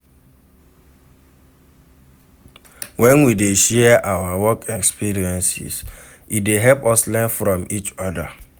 We dey share our work experiences, e dey help us learn from each oda.